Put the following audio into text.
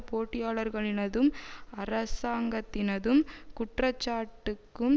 போட்டியாளர்களினதும் அரசாங்கத்தினதும் குற்றச்சாட்டுக்கும்